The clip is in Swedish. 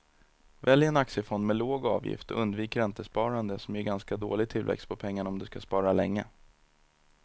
Välj en aktiefond med låg avgift och undvik räntesparande som ger ganska dålig tillväxt på pengarna om du ska spara länge.